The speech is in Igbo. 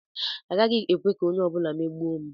Agaghị m ekwe ka onye ọ bụla megbuo m.